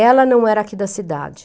Ela não era aqui da cidade.